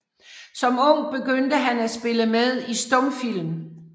Som ung begyndte han at spille med i stumfilm